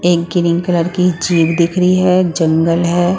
एक green colour की jeep दिख रही है जंगल है।